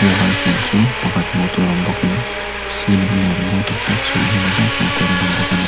wall fan chu pakhat hmuh tur awm bawk in ceiling lamp mawi taktak chu enge maw zat hmuh tur an awm bawk ani.